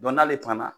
n'ale fana